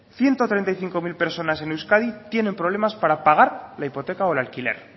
ciento treinta y cinco mil personas en euskadi tienen problemas para pagar la hipoteca o el alquiler